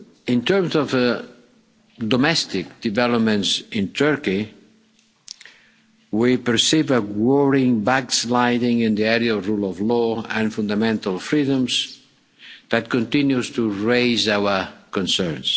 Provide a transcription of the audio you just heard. In terms of domestic developments in Turkey, we perceive a worrying backsliding in the area of rule of law and fundamental freedoms that continues to raise our concerns.